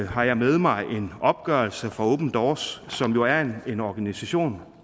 har jeg med mig en opgørelse fra open doors som jo er en organisation